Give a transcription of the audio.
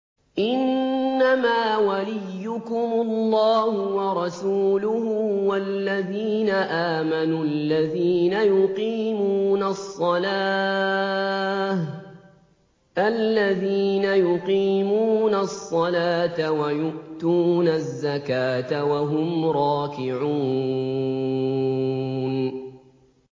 إِنَّمَا وَلِيُّكُمُ اللَّهُ وَرَسُولُهُ وَالَّذِينَ آمَنُوا الَّذِينَ يُقِيمُونَ الصَّلَاةَ وَيُؤْتُونَ الزَّكَاةَ وَهُمْ رَاكِعُونَ